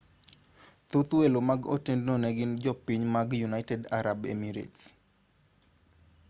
thoth welo mag otendno ne gin jopiny mag united arab emirates